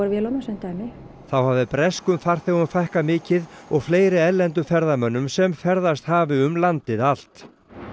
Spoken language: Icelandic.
vélunum sem dæmi þá hafi breskum farþegum fækkað mikið og fleiri erlendum ferðamönnum sem ferðast hafi um landið allt